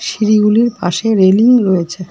সিঁড়িগুলির পাশে রেলিং রয়েছে।